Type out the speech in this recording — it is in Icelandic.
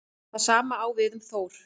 Það sama á við um Þór.